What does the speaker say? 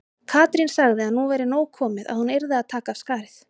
Katrín sagði að nú væri nóg komið, hún yrði að taka af skarið.